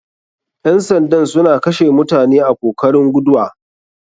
Ƴan sandan suna kashe mutane a kokarin guduwa.